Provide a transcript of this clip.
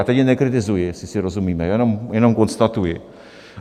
A teď je nekritizuji, jestli si rozumíme, jenom konstatuji.